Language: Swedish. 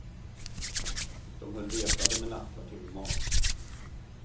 Och de höll resande med nattkvarter och mat.